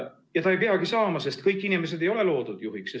Ja ta ei peagi saama, sest kõik inimesed ei ole loodud juhiks.